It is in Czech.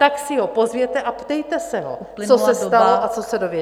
... tak si ho pozvěte a ptejte se ho, co se stalo a co se dozvěděl.